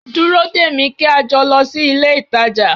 Dúró dè mí kí a jọ lọ sí ilé-ìtàjà